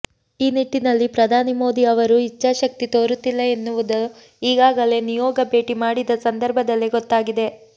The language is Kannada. ಈ ನಿಟ್ಟಿನಲ್ಲಿ ಪ್ರಧಾನಿ ಮೋದಿಅವರು ಇಚ್ಛಾಶಕ್ತಿ ತೋರುತ್ತಿಲ್ಲ ಎನ್ನುವುದು ಈಗಾಗಲೇ ನಿಯೋಗ ಭೇಟಿ ಮಾಡಿದಸಂದರ್ಭದಲ್ಲೇ ಗೊತ್ತಾಗಿದೆ